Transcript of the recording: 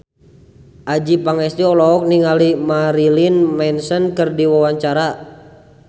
Adjie Pangestu olohok ningali Marilyn Manson keur diwawancara